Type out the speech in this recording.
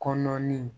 Kɔnɔnin